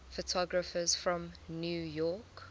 photographers from new york